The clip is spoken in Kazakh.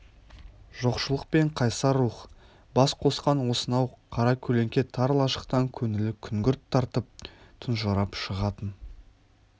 жоқшылық пен қайсар рух бас қосқан осынау қара көлеңке тар лашықтан көңілі күңгірт тартып тұнжырап шығатын